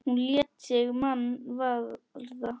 Hún lét sig mann varða.